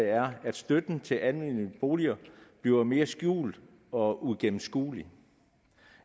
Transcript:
er at støtten til almene boliger bliver mere skjult og uigennemskuelig